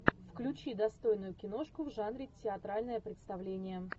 включи достойную киношку в жанре театральное представление